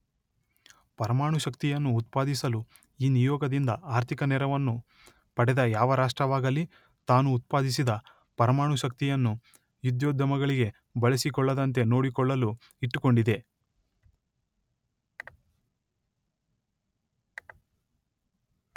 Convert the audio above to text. ಪರಮಾಣುಶಕ್ತಿಯನ್ನು ಉತ್ಪಾದಿಸಲು ಈ ನಿಯೋಗದಿಂದ ಆರ್ಥಿಕ ನೆರವನ್ನು ಪಡೆದ ಯಾವ ರಾಷ್ಟ್ರವಾಗಲಿ ತಾನು ಉತ್ಪಾದಿಸಿದ ಪರಮಾಣು ಶಕ್ತಿಯನ್ನು ಯುದ್ಧೋದ್ಯಮಗಳಿಗೆ ಬಳಸಿಕೊಳ್ಳದಂತೆ ನೋಡಿಕೊಳ್ಳಲು ಇಟ್ಟುಕೊಂಡಿದೆ.